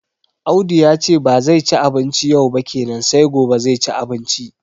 Audu yace ba zai ci abinci yau ba kenan sai gobe zai ci abinci